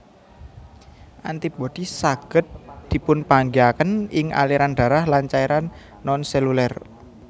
Antibodi saged dipunpanggihaken ing aliran darah lan cairan nonseluler